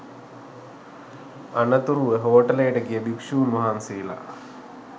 අනතුරුව හෝටලයට ගිය භික්ෂූන් වහන්සේලා